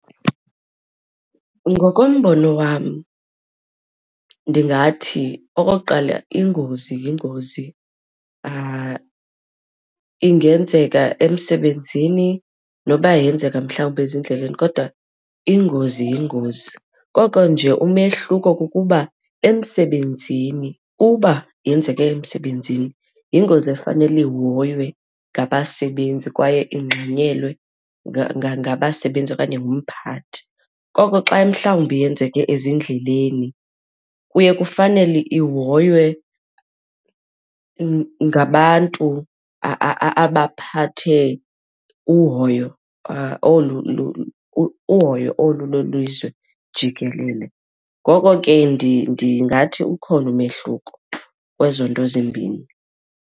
Ngokombono wam, ndingathi okokuqala ingozi yingozi, ingenzeka emsebenzini noba yenzeka mhlawumbi ezindleleni kodwa ingozi yingozi, koko nje umehluko kukuba emsebenzini uba yenzeke emsebenzini yingozi efanele ihoywe ngabasebenzi kwaye ingxanyelwe ngabasebenzi okanye ngumphathi. Koko xa mhlawumbi yenzeke ezindleleni kuye kufanele ihoywe ngabantu abaphathe uhoyo olu uhoyo olu lwelizwe jikelele. Ngoko ke ndingathi ukhona umehluko kwezo nto zimbini.